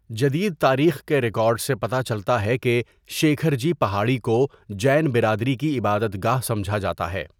جدید تاریخ کے ریکارڈ سے پتہ چلتا ہے کہ شیکھر جی پہاڑی کو جین برادری کی عبادت گاہ سمجھا جاتا ہے۔